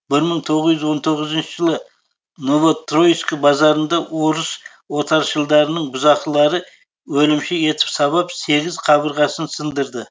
бір мың тоғыз жүз он тоғызыншы жылы новотроицк базарында орыс отаршылдарының бұзақылары өлімші етіп сабап сегіз қабырғасын сындырды